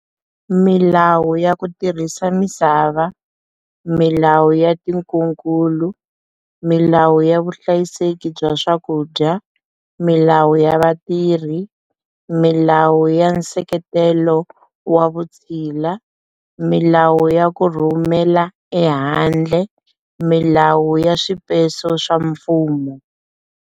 Milawu ya ku tirhisa misava, milawu ya tinkunkulu, milawu ya vuhlayiseki bya swakudya, milawu ya vatirhi, milawu ya nseketelo wa vutshila, milawu ya ku rhumela ehandle, milawu ya swipeso swa mfumo.